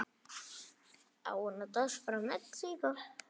Ég hafði slitið hásin.